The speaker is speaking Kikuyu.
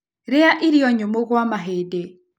Rĩa irio nyũmũ gwa mahĩndĩ